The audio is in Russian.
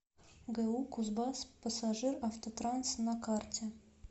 гу кузбасспассажиравтотранс на карте